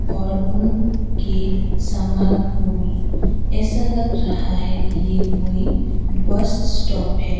और उन के सामान को भी ऐसा लग रहा है कि ये कोई बस स्टॉप है।